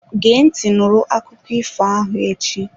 Gee ntị nụrụ akụkọ ifo ahụ echi!